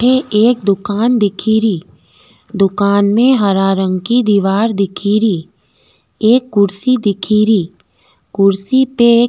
अठ एक दुकान दिखेरी दुकान में हरा रंग की दिवार दिखेरी एक कुर्शी दिखे री कुर्शी पे --